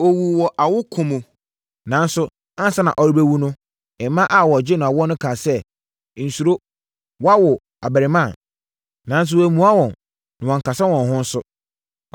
Ɔwuu wɔ awokoɔ mu, nanso ansa na ɔrebɛwu no, mmaa a wɔregye no awoɔ no kaa sɛ, “Nsuro woawo abarimaa.” Nanso, wammua wɔn na wankasa wɔn ho nso.